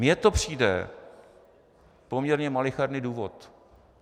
Mně to přijde poměrně malicherný důvod.